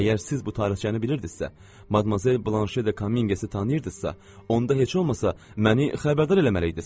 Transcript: Əgər siz bu tarixçəni bilirdinizsə, Madmazel Blanşe de Kominqesi tanıyırdınızsa, onda heç olmasa məni xəbərdar eləməliydiniz.